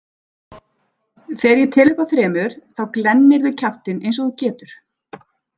Þegar ég tel upp að þremur þá glennirðu kjaftinn eins og þú getur